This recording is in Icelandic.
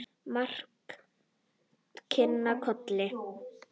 Marta kinkaði kolli.